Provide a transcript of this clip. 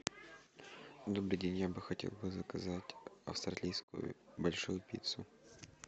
добрый день я бы хотел бы заказать австралийскую большую пиццу